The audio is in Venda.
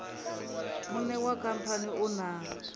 muṋe wa khamphani u na